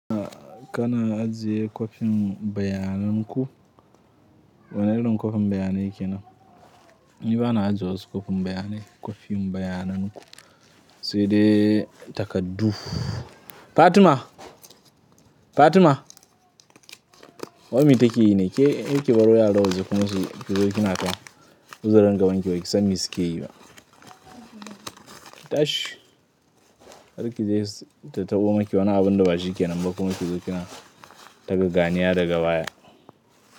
Kana ajiye kwafin bayanan ku? Wane irin kwafin bayanai kenan? Ni bana ajiye wasu kwafin bayanai, kwafin bayanan ku sai dai takardu. Fatima! Fatima! Wai me take yi ne? Ke, yake baruwa ya dauki kuma su ki zo kina ta huzaran gaban ki wai kisami suke yi ma. Tashi! Har ki je ta tabo maki wane abun da bashi ke nan ba kuma ki zo kina taka ganiya daga baya.